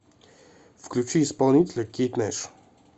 включи исполнителя кейт нэш